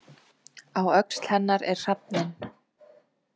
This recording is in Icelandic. Á öxl hennar er hrafninn.